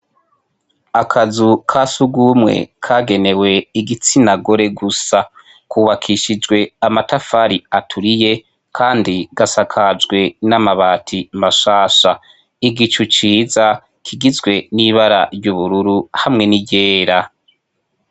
Akazu kasugumye kagenewe igitsina ngore gusa kubakishijwe amatafari aturiye kandi gasakajwe n'amabati mashasha igicu ciza kigizwe n'ibara ry'ubururu hamwe ni ryera.